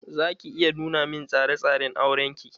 Za ki iya nuna min tsare tsare n auren ki?